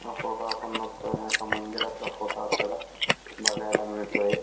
हा फोटो आपण बघतोय हा एका मंदिरातला फोटो आपल्याला बघायला मिळतोय.